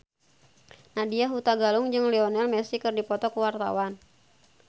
Nadya Hutagalung jeung Lionel Messi keur dipoto ku wartawan